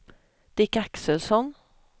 Dick Axelsson